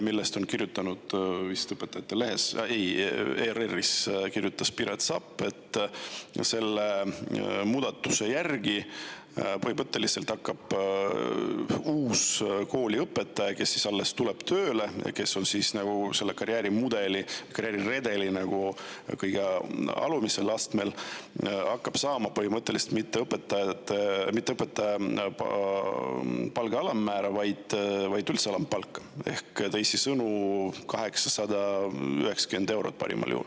Vist Õpetajate Lehes, ei, ERR-is on Piret Sapp kirjutanud, et selle muudatuse tõttu hakkab uus kooliõpetaja, kes alles tuleb tööle ja kes on selle karjäärimudeli või karjääriredeli kõige alumisel astmel, saama mitte õpetaja palga alammäära, vaid üldse alampalka ehk teisisõnu, parimal juhul 890 eurot.